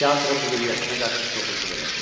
Teatrın müdiriyyətinə qarşı kobudluq elədi.